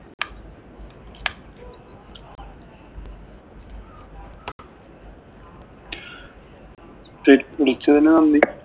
ശരി, വിളിച്ചതിന് നന്ദി.